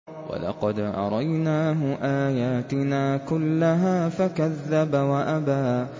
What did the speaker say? وَلَقَدْ أَرَيْنَاهُ آيَاتِنَا كُلَّهَا فَكَذَّبَ وَأَبَىٰ